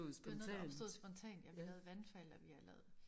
Det var noget der opstod spontant ja vi havde vandfald og vi har lavet